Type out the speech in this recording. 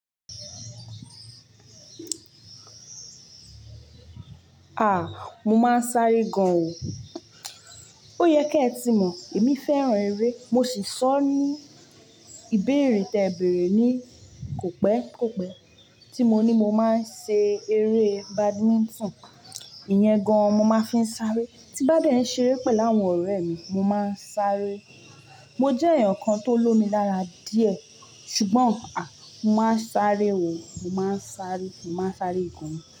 Ah! Mo máa ń sáré gan o. Ó yẹ kí ẹ tí mọ̀, èmi fẹ́ràn eré, mo sì sọ ní ìbéèrè tí ẹ bèrè ni kò pẹ́, kò pẹ́ tí mo ní mo máa ń ṣe eré Badminton. Ìyẹn gan mo máa ń fi ń sáré. Tí bá dẹ́ ṣe eré pẹ̀lú àwọn ọ̀rẹ́ mi, mo máa ń sáré. Mo jẹ́ èèyàn kan tó lomi lára díẹ̀ ṣùgbọ́n a! Mo máa ń sáré o. Mo máa ń sáré, mo máa ń sáré ìkùnmi.